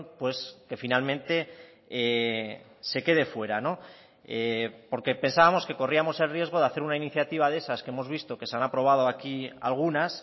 pues que finalmente se quede fuera porque pensábamos que corríamos el riesgo de hacer una iniciativa de esas que hemos visto que se han aprobado aquí algunas